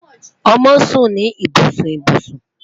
Ọmọ sun ni ibusun ibusun